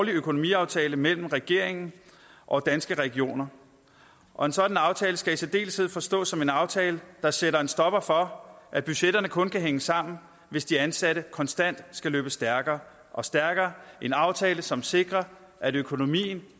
økonomiaftale mellem regeringen og danske regioner og en sådan aftale skal i særdeleshed forstås som en aftale der sætter en stopper for at budgetterne kun kan hænge sammen hvis de ansatte konstant skal løbe stærkere og stærkere og en aftale som sikrer at økonomien